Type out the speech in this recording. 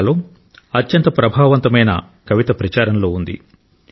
బంగ్లాలో అత్యంత ప్రభావవంతమైన కవిత ప్రచారంలో ఉంది